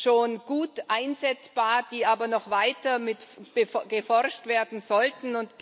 schon gut einsetzbar, die aber noch weiter erforscht werden sollten.